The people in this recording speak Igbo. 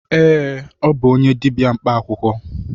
Ee, ọ bụ onye dibịa mkpa akwụkwọ.